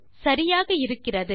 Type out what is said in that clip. சரியாக இருக்கிறது